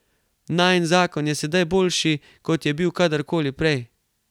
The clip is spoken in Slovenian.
Najin zakon je sedaj boljši, kot je bil kadarkoli prej.